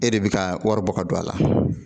E de bɛ ka wari bɔ ka don a la